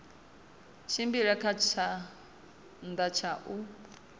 tshimbile kha tshanḓa tsha u